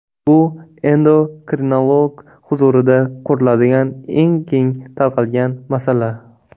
Bu endokrinolog huzurida ko‘riladigan eng keng tarqalgan masala.